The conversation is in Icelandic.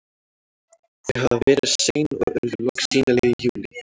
Þau hafa verið sein og urðu loks sýnileg í júlí.